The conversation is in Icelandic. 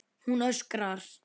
Hún öskrar.